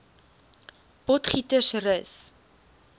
potgietersrus